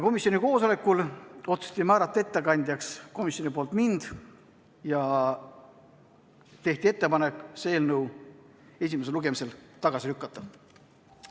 Koosolekul otsustati määrata komisjonipoolseks ettekandjaks mind ja tehti ettepanek see eelnõu esimesel lugemisel tagasi lükata.